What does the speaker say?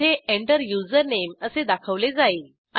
येथे Enter username असे दाखवले जाईल